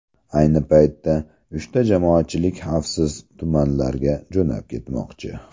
Ayni paytda uchta jamoatchilik xavfsiz tumanlarga jo‘nab ketmoqchi.